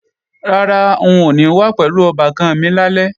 Rárá, n ò ní wá pẹ̀lú ọbàkan mi lálẹ́